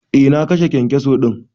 Eh na kashe kyankyaso din.